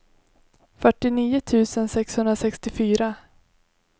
fyrtionio tusen sexhundrasextiofyra